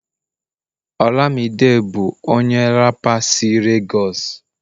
olamide bu onye rapa si Lagos